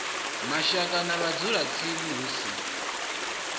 mashaka na vhadzulatsini hu si